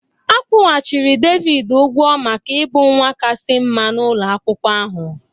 A kwụghachiri Devid ụgwọ maka ịbụ nwa kasị mma n'ụlọ akwụkwọ ahụ